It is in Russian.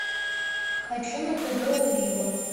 хочу на тв олива